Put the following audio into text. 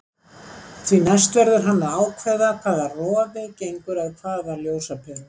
Því næst verður hann að ákveða hvaða rofi gengur að hvaða ljósaperu.